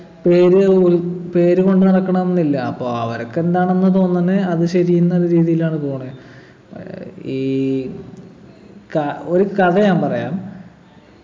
പേര് ഊരും പേരും കൊണ്ട് നടക്കണംന്നില്ല അപ്പൊ അവര്ക്ക് എന്താണന്നു തോന്നണെ അത് ശരി എന്ന രീതിയിലാണ് പോണെ ഏർ ഈ ക ഒരു കഥ ഞാൻ പറയാം